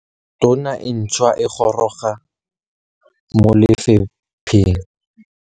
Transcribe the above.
Tona e ntšhwa e goroga mo lefapheng.